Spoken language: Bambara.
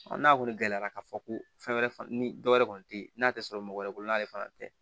n'a kɔni gɛlɛyara ka fɔ ko fɛn wɛrɛ ni dɔ wɛrɛ kɔni te yen n'a tɛ sɔrɔ mɔgɔ wɛrɛ bolo n'ale fana tɛ